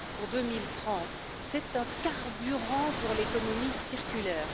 2030. C'est un carburant pour l'économie circulaire.